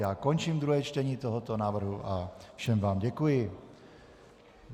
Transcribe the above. Já končím druhé čtení tohoto návrhu a všem vám děkuji.